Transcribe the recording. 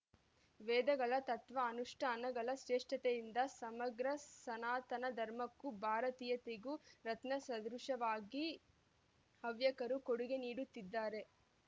ವೇದಗಳ ತತ್ವಾನುಷ್ಠಾನಗಳ ಶ್ರೇಷ್ಠತೆಯಿಂದ ಸಮಗ್ರ ಸನಾತನ ಧರ್ಮಕ್ಕೂ ಭಾರತೀಯತೆಗೂ ರತ್ನ ಸದೃಶವಾಗಿ ಹವ್ಯಕರು ಕೊಡುಗೆ ನೀಡುತ್ತಿದ್ದಾರೆ